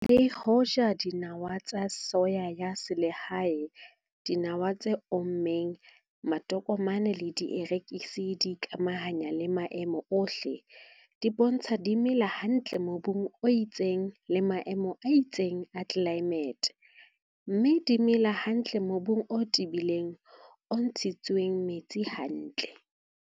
Le hoja dinawa tsa soya ya selehae, dinawa tse ommeng, matokomane le dierekisi di ikamahanya le maemo ohle, di bontsha di mela hantle mobung o itseng le maemong a itseng a tlelaemete, mme di mela hantle mobung o tebileng, o ntshitsweng metsi hantle.